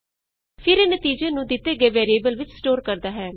ਫਿਰ ਇਹ ਨਤੀਜੇ ਨੂੰ ਦਿਤੇ ਗਏ ਵੈਰੀਏਬਲ ਵਿਚ ਸਟੋਰ ਕਰਦਾ ਹੈ